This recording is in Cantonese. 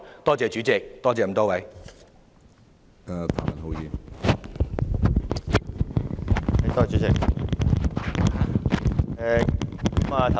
多謝主席，多謝各位議員。